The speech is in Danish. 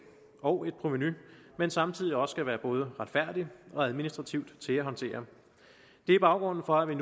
og et provenu men samtidig også skal være både retfærdig og administrativt til at håndtere det er baggrunden for at vi